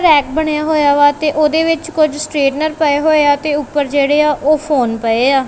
Rack ਬਣਿਆ ਹੋਇਆ ਵਾ ਤੇ ਉਹਦੇ ਵਿੱਚ ਕੁਝ ਸਟੇਟਨਰ ਪਏ ਹੋਏ ਆ ਤੇ ਉੱਪਰ ਜਿਹੜੇ ਆ ਉਹ ਫੋਨ ਪਏ ਆ।